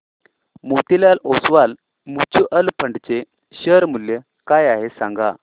Motilal Oswal mutual fund चे share मूल्य काय आहे सांगा